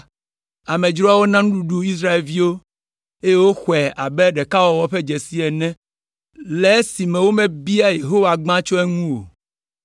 Amedzroawo na nuɖuɖu Israelviwo, eye woxɔe abe ɖekawɔwɔ ƒe dzesi ene le esime womebia Yehowa gbã tso eŋu o.